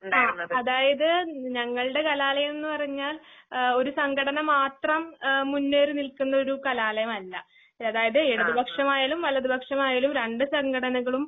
അ അതായത് ഞങ്ങൾടെ കലാലയംന്ന്പറഞ്ഞാൽ ആഹ് ഒര്സംഘടനമാത്രം ഏഹ് മുന്നേറിനിൽക്കുന്നൊരുകലാലയമല്ല. അതായത് ഇടതുപക്ഷമായാലും, വലതുപക്ഷമായാലും രണ്ട്സംഘടനകളും